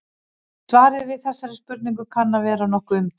Svarið við þessari spurningu kann að vera nokkuð umdeilt.